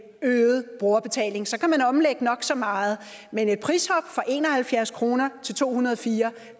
øget brugerbetaling så kan man omlægge nok så meget men et prishop fra en og halvfjerds kroner til to hundrede og fire